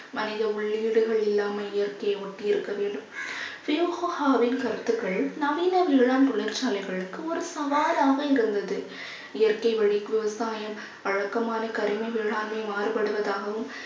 மனித உள்ளீடுகள் இல்லாமல் இயற்கையை ஒட்டி இருக்க வேண்டும் யோகாவின் கருத்துக்கள் நவீன வேளாண் தொழிற்சாலைகளுக்கு ஒரு சவாலாக இருந்தது. இயற்கை வழிக்கு உட்பாக வழக்கமான கரிம வேளாண்மை மாறுபடுவதாகவும்